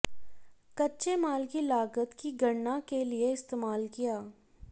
कच्चे माल की लागत की गणना के लिए इस्तेमाल किया